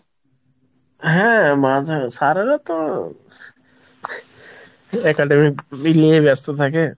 হ্যাঁ মাঝে sir এরা তো academy নিয়ে ব্যস্ত থাকে।